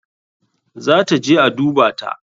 Za ta je a dubata.